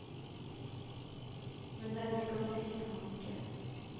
Men denne gang dikter han ikke.